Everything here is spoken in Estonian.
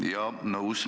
Jaa, nõus.